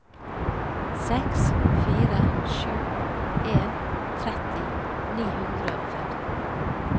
seks fire sju en tretti ni hundre og femten